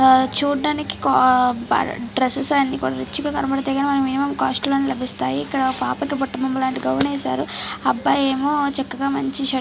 చూడ్డానికి కో బ డ్రెస్సెస్ అన్ని కొన్ని రిచ్ గా కనబడతాయి గాని మన మినిమమ్ కాస్ట్ లోనే లభిస్తాయి ఇక్కడ పాపకి బుట్ట బొమ్మ లాంటి గౌన్ ఏసారు అబ్బాయేమో చక్కాగా మంచి షర్ట్ --